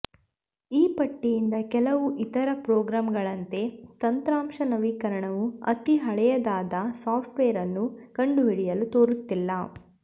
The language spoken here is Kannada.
ಈ ಪಟ್ಟಿಯಿಂದ ಕೆಲವು ಇತರ ಪ್ರೋಗ್ರಾಂಗಳಂತೆ ತಂತ್ರಾಂಶ ನವೀಕರಣವು ಅತೀ ಹಳೆಯದಾದ ಸಾಫ್ಟ್ವೇರ್ ಅನ್ನು ಕಂಡುಹಿಡಿಯಲು ತೋರುತ್ತಿಲ್ಲ